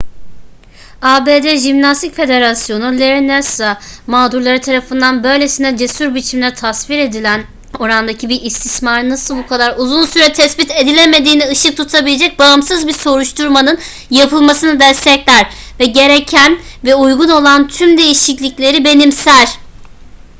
abd jimnastik federasyonu larry nassar mağdurları tarafından böylesine cesur biçimde tasvir edilen orandaki bir istismarın nasıl bu kadar uzun süre tespit edilemediğine ışık tutabilecek bağımsız bir soruşturmanın yapılmasını destekler ve gereken ve uygun olan tüm değişiklikleri benimser